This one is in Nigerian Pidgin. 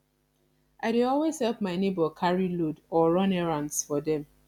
i dey always help my neighbor carry load or run errands for dem